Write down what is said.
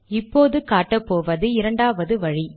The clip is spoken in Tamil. இப்போது காட்டப்போவது இரண்டாவது வழி